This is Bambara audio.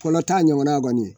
Fɔlɔta ɲɔgɔnna kɔni